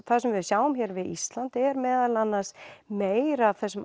það sem við sjáum hér við Ísland er meðal annars meir af þessum